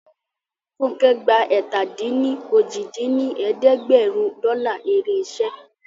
Funkẹ́ gba ẹ̀ta-dín-ní-ojì dín ní ẹ̀ẹ́dẹ́gbẹ́rún dọ́là èrè iṣẹ́